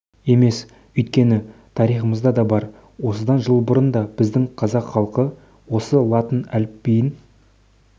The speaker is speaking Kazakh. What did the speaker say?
емес өйткені тарихымызда да бар осыдан жыл бұрын да біздің қазақ халқы осы латын әліпбиін